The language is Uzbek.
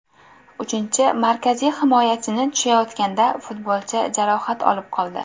Uchinchi markaziy himoyachini tushayotganda futbolchi jarohat olib qoldi.